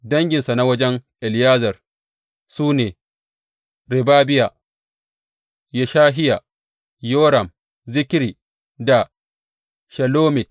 Danginsa na wajen Eliyezer su ne, Rehabiya, Yeshahiya, Yoram, Zikri da Shelomit.